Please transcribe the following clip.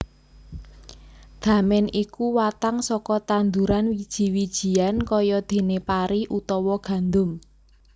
Damèn iku watang saka tanduran wiji wijian kayadéné pari utawa gandum